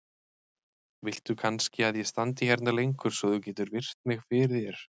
Viltu kannski að ég standi hérna lengur svo að þú getir virt mig fyrir þér?